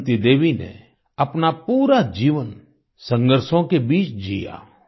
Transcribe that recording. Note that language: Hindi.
बसंती देवी ने अपना पूरा जीवन संघर्षों के बीच जीया